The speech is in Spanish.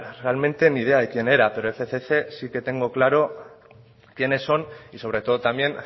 realmente ni idea de quién era pero fcc sí que tengo claro quiénes son y sobre todo también